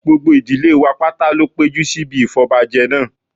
gbogbo ìdílé wa pátá ló péjú síbi ìfọbọbajẹ náà